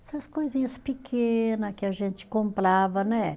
Essas coisinhas pequena que a gente comprava, né?